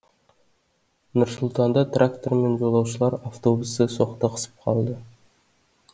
нұр сұлтанда трактор мен жолаушылар автобусы соқтығысып қалды